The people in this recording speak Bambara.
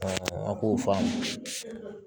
an b'o faamu